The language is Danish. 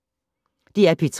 DR P3